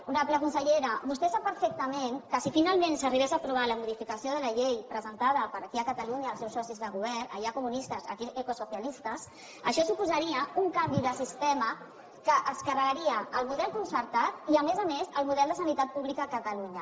honorable consellera vostè sap perfectament que si finalment s’arribés a aprovar la modificació de la llei presentada aquí a catalunya pels seus socis de govern allà comunistes aquí ecosocialistes això suposaria un canvi de sistema que es carregaria el model concertat i a més a més el model de sanitat pública a catalunya